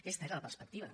aquesta era la perspectiva